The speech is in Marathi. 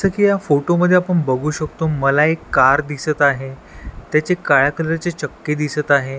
जसं की या फोटोमध्ये आपण बघू शकतो मला एक कार दिसत आहे त्याची काळा कलर ची चक्की दिसत आहे.